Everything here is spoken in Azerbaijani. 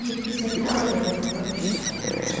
Yeddi-səkkiz ay orda-burda iş soraqlaşdı.